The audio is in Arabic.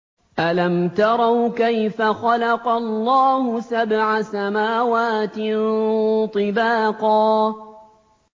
أَلَمْ تَرَوْا كَيْفَ خَلَقَ اللَّهُ سَبْعَ سَمَاوَاتٍ طِبَاقًا